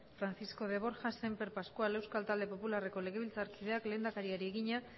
francisco de borja sémper pascual euskal talde popularreko legebiltzarkideak lehendakariari egina